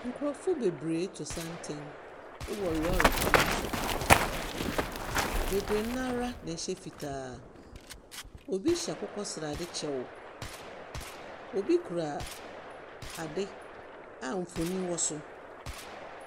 Nkrɔfo bebree reto santen wɔ lɔɔrekwan so. Bebree no ara na ɛhyɛ fitaa. Obi hyɛ akokɔsrade kyɛw. Obi kura aade a mfoni wɔ so.